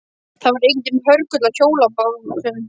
Það var enginn hörgull á hjólabátum.